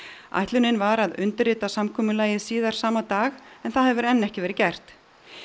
ætlunin var að undirrita samkomulagið síðar sama dag en það hefur enn ekki verið gert